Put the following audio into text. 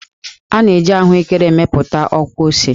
A na-eji ahụékéré emepụta ọkwụose